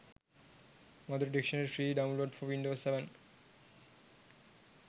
madura dictionary free download for windows 7